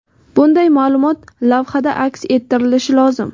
Bunday maʼlumot lavhada aks ettirilishi lozim.